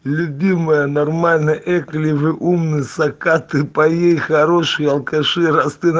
любимая нормально эк ли вы умный сакаты пае хороший алкаши раз ты на